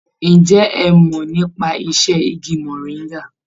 Ǹjẹ́ ẹ mọ̀ nípa iṣẹ́ igi mọ̀ríngà?